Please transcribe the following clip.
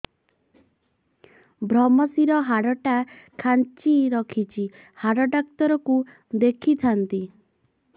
ଵ୍ରମଶିର ହାଡ଼ ଟା ଖାନ୍ଚି ରଖିଛି ହାଡ଼ ଡାକ୍ତର କୁ ଦେଖିଥାନ୍ତି